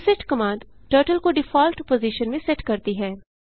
reset command turtle को default position में set करती है